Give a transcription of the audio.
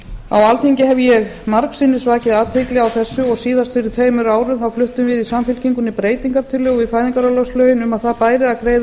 á alþingi hef ég margsinnis vakið athygli á þessu síðast fyrir tveimur árum fluttum við í samfylkingunni breytingartillögu við fæðingarorlofslögin um að það bæri að greiða